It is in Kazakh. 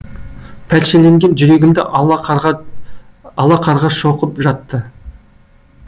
пәршеленген жүрегімді ала қарға шоқып жатты